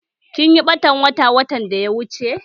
Kinyi ɓatan wata watan da ya wuche?